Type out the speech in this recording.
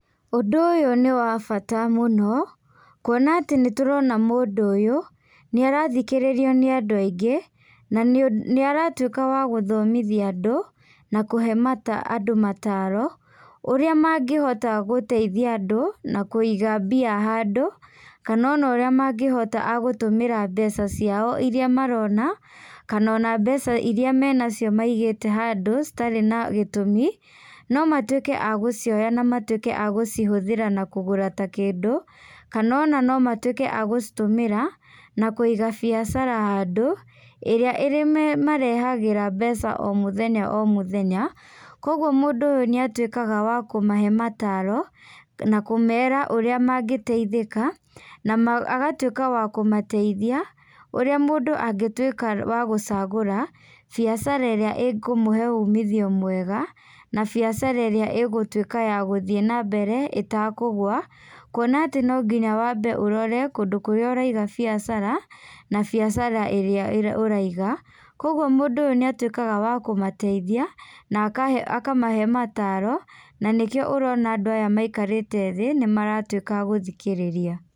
Ũndũ ũyũ nĩ wa bata mũno, kwona atĩ nĩ tũrona mũndũ ũyũ, nĩ arathikĩrĩrio nĩ andũ aingĩ, na nĩ aratuĩka wa gũthomithia andũ, na kũhe mata andũ mataaro, ũrĩa mangĩhota gũteithia andũ, na kũiga mbia handũ, kana ũrĩa mangĩhota agũtũmĩra mbeca ciao iria marona, kana ona mbeca iria menacio maigĩte handũ, citarĩ na gĩtũmi, no matuĩke a gũcioya na matuĩke a gũcihũthĩra na kũgũra ta kĩndũ, kana ona no matuĩke a gũcitũmĩra na kũiga biacara handũ, ĩrĩa ĩrĩ marehagĩra mbeca o mũthenya o mũthenya, koguo mundũ ũyũ nĩ atuĩkaga wa kũmahe mataaro, na kũmera ũrĩa mangĩteithika, na agatuĩka wa kũmateithia, ũrĩa mũndũ angĩtuĩka wa gũcagũra, biacara ĩrĩa ĩkũmũhe umithio mwega, na biacara ĩrĩa ĩgũtuĩka ya gũthiĩ na mbere ĩtakũgwa, kuona atĩ no nginya wambe ũrore kũndũ kũrĩa ũraiga biacara, na biacara ĩrĩa ũraiga, koguo mũndũ ũyũ nĩ atuĩkaga wa kũmateithia, na akamahe mataaro, na nĩkĩo ũrona andũ aya maikarĩte thĩ nĩ maratuĩka agũthikĩrĩria.